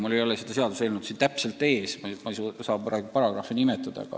Mul ei ole seda seadust siin ees, ma ei saa paragrahvi nimetada.